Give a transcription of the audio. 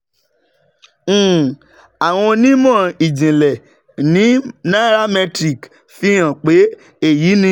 um Àwọn onímọ̀ ìjìnlẹ̀ ní nairametrics fi hàn pé èyí ni